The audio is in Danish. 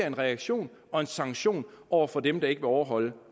en reaktion og en sanktion over for dem der ikke vil overholde